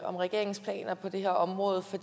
om regeringens planer på det her område for